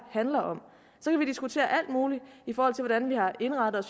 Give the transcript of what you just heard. handler om så kan vi diskutere alt muligt i forhold til hvordan vi har indrettet